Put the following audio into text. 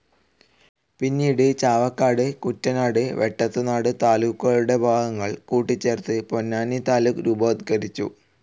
പിന്നീട് ചാവക്കാട്, കൂറ്റനാട്, വെട്ടത്തുനാട് താലൂക്കുകളുടെ ഭാഗങ്ങൾ കൂട്ടിച്ചേർത്ത് പൊന്നാനി താലൂക്ക് രൂപവത്കരിച്ചു.